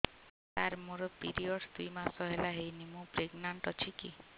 ସାର ମୋର ପିରୀଅଡ଼ସ ଦୁଇ ମାସ ହେଲା ହେଇନି ମୁ ପ୍ରେଗନାଂଟ ଅଛି କି